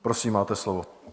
Prosím, máte slovo.